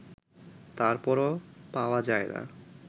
তারপরও পাওয়া যায় না